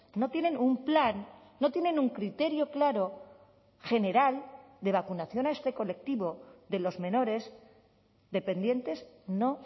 no tienen un plan no tienen un criterio claro general de vacunación a este colectivo de los menores dependientes no